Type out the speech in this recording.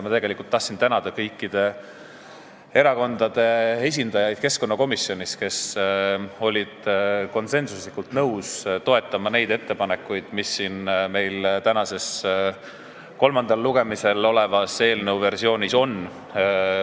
Ma tahtsin tänada kõikide erakondade esindajaid keskkonnakomisjonis, kes olid konsensuslikult nõus toetama neid ettepanekuid, mida täna kolmandal lugemisel olevas eelnõu versioonis arvestatud on.